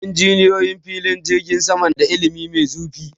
Injiniyoyi filin jirgin sama na da ilimi mai zurfi